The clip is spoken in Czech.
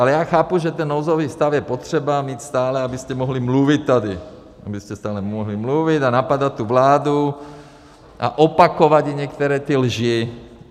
Ale já chápu, že ten nouzový stav je potřeba mít stále, abyste mohli mluvit tady, abyste stále mohli mluvit a napadat tu vládu a opakovat jí některé ty lži.